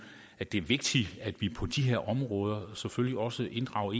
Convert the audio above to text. at det er vigtigt at vi på de her områder selvfølgelig også inddrager